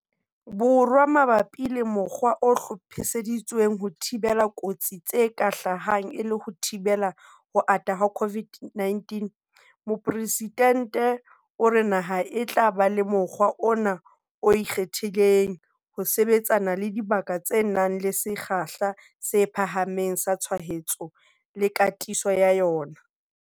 Borwa mabapi le mokgwa o hlophiseditsweng ho thibela kotsi tse ka hlahang e le ho thibela ho ata ha COVID-19, Mopresidente o re naha e tla ba le mokgwa ona o ikgethileng ho sebetsana le dibaka tse nang le sekgahla se phahameng sa tshwaetso le katiso ya yona.